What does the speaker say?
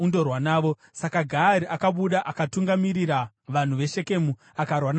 Saka Gaari akabuda akatungamirira vanhu veShekemu akarwa naAbhimereki.